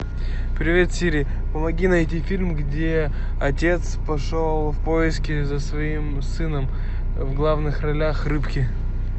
привет сири помоги найти фильм где отец пошел в поиски за своим сыном в главных ролях рыбки